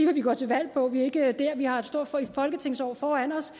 vi går til valg på vi er ikke dér vi har et stort folketingsår foran os